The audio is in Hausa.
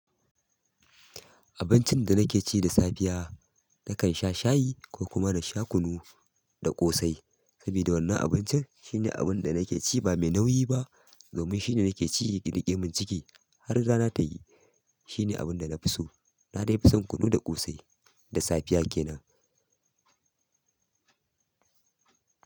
Abincin da nake ci da safiya, nakan sha shayi ko kuma na sha kunu da ƙosai. Sabida wannan abincin shine abinda nake ci ba me nauyi ba domin shine nake ci ya riƙe mun ciki har rana tayi shine abun da na fi so. Na dai fi son kunu da ƙosai da safiya ke nan.